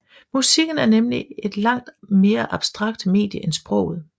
Musikken er nemlig et langt abstraktere medie end sproget